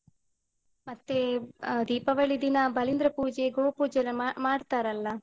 ಮತ್ತೆ ಆ ದೀಪಾವಳಿ ದಿನ ಬಲಿಂದ್ರ ಪೂಜೆ, ಗೋಪೂಜೆ ಎಲ್ಲ ಮಾ~ ಮಾಡ್ತಾರಲ್ಲ?